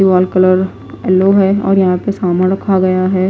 Ball colour yellow है और यहां पे सामान रखा गया है।